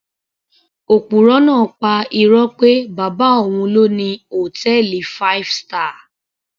Òpùrọ́ náà pa irọ́ pé bàbá òun ló ni hòtẹ́ẹ̀lì five star